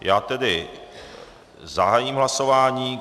Já tedy zahájím hlasování.